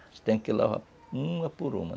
Você tem que lavar uma por uma.